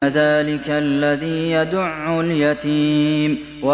فَذَٰلِكَ الَّذِي يَدُعُّ الْيَتِيمَ